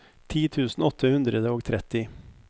ti tusen åtte hundre og tretti